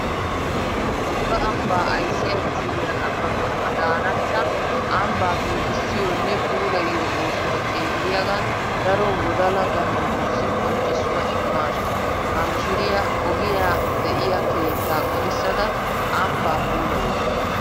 Tungga ambba ayssiya mishiriya Ababa Adanacha ambba giigissiyonne puulayiyo oosuwa xeelliyagan daro wodalla ganjjetussi qonccissuwa imaasu. Ha mishiriya ogiya de'iya keetta qollissadda ambba puulayawussu.